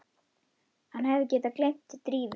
Hann hefði getað gleymt Drífu.